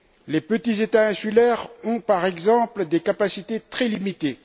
Les petits États insulaires ont par exemple des capacités très limitées.